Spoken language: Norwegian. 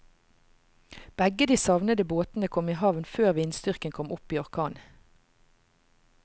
Begge de savnede båtene kom i havn før vindstyrken kom opp i orkan.